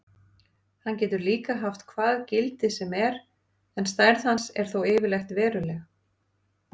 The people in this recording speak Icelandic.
Hann getur líka haft hvað gildi sem er en stærð hans er þó yfirleitt veruleg.